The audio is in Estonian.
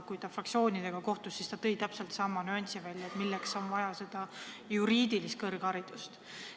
Kui ta fraktsioonidega kohtus, siis ta tõi välja täpselt sama nüansi, et milleks on seal vaja juriidilist kõrgharidust.